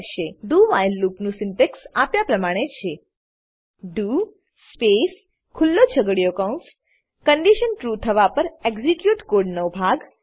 do while લૂપનું syntax આપ્યા પ્રમાણે છે ડીઓ સ્પેસ ખુલ્લો છગડીયો કૌંસ કન્ડીશન ટ્રૂ થવા પર એક્ઝીક્યુટ કોડનાં ભાગ